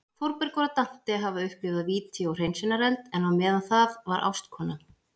Þórbergur og Dante hafa upplifað víti og hreinsunareld, en á meðan það var ástkona